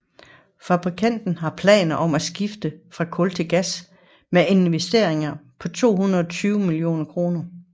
Fabrikken har planer om at skifte fra kul til gas med investeringer på 720 mio kr